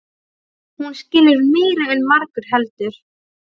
Hún skilur meira en margur heldur.